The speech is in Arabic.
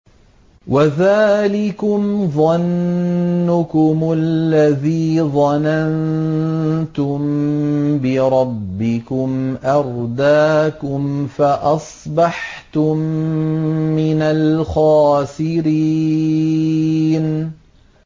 وَذَٰلِكُمْ ظَنُّكُمُ الَّذِي ظَنَنتُم بِرَبِّكُمْ أَرْدَاكُمْ فَأَصْبَحْتُم مِّنَ الْخَاسِرِينَ